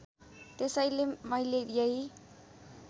त्यसैले मैले यही